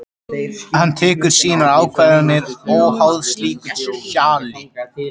Hann tekur sínar ákvarðanir óháð slíku hjali.